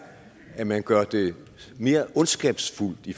at man gør det mere ondskabsfuldt i